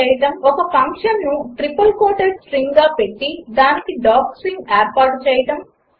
ఒక ఫంక్షన్ను triple quoted స్ట్రింగ్గా పెట్టి దానికి డాక్స్ట్రింగ్ ఏర్పాటు చేయడం 4